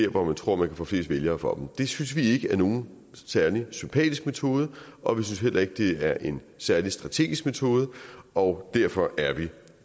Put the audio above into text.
hvor man tror man kan få flest vælgere for det synes vi ikke er nogen særlig sympatisk metode og vi synes heller ikke det er en særlig strategisk metode og derfor er vi